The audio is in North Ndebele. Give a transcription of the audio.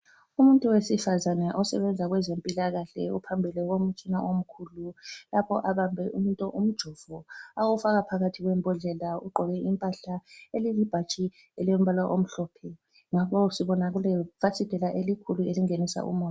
Umuntu wesifazana osebenza kwezempilakahle ophambili komtshina omkhulu lapho abambe umjovo ewufaka phakathi kwembodlela. Ugqoke impahla elilibhatshi elilombala omhlophe. Ngapha sibona kulefasiteli elikhulu elingenisa umoya.